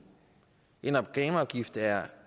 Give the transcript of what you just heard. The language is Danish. en reklameafgift er